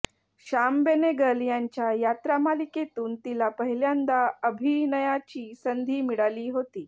श्याम बेनेगल यांच्या यात्रा मालिकेतून तिला पहिल्यांदा अभिनयाची संधी मिळाली होती